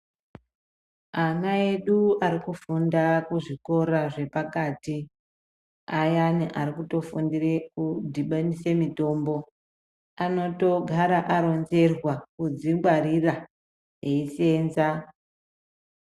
Ana edu ari kufunda kuzvikora zvepakati ayani arikutofundire kudhibanise mitombo anotogara aronzerwa kudzingwarira eisenza.